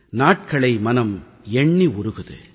நாட்களை மனம் எண்ணி உருகுது